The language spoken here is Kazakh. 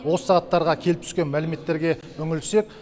осы сағаттарға келіп түскен мәліметтерге үңілсек